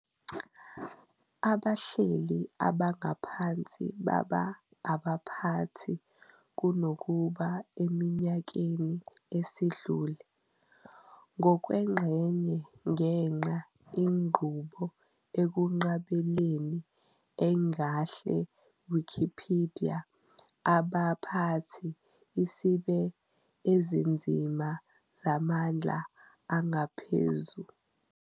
Abahleli abangaphansi baba abaphathi kunokuba eminyakeni esidlule, ngokwengxenye ngenxa inqubo ekunqabeleni engahle Wikipedia abaphathi isibe ezinzima zamandla angaphezu.